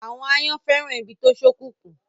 Àwọn àyàn fẹ́ràn ibi tó ṣókùnkùn.